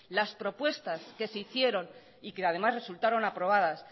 las propuestas que se hicieron y que además resultaron aprobadas